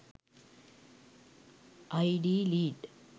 id lead